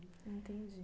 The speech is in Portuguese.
Entendi.